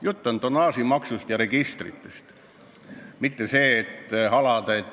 Jutt on tonnaažitasust ja registrite tasust.